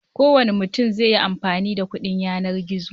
Kowane mutum zai yi amfani da kuɗin yanar gizo.